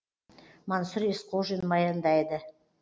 мансұр есқожин баяндайды